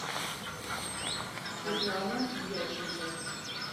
светлана дьяченко